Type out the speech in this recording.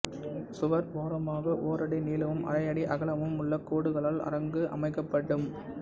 சுவர் ஓரமாக ஓரடி நீளமும் அரையடி அகலமும் உள்ள கோடுகளால் அரங்கு அமைக்கப்படும்